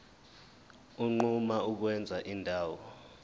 unquma ukwenza indawo